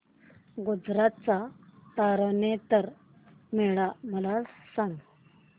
गुजरात चा तारनेतर मेळा मला सांग